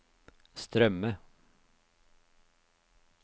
strømme